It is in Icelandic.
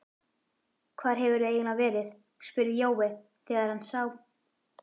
Hvar hefurðu eiginlega verið? spurði Jói þegar hann sá